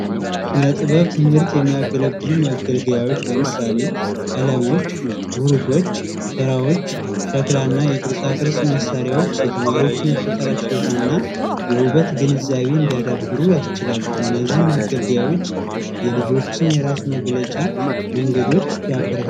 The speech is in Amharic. ለስነ ጥበብ ትምህርት የሚያገለግሉ መገልገያዎች ለምሳሌ ቀለሞች፣ ቡርሾች ፣ሸራዎች ፣ሸክላ እና የቅርፃ ቅርፅ መሳሪያዎች የተማሪዎችን የፈጠራ ችሎት እና የውበት ግንዛቤ እንዲያዳብሩ ያስችላሉ። እነዚህም መገልገያዎች የልጆችን የራስ መግለጫ መንገድ ያበረታታሉ።